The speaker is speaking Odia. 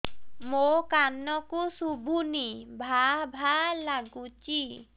ମୋ କାନକୁ ଶୁଭୁନି ଭା ଭା ଲାଗୁଚି